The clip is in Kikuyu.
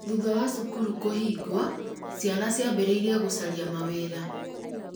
thutha wa cukuru kũhingwo, ciana ciambirìirie gũcaria mawĩra